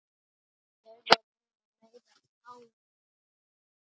Það voru nú meiri árin.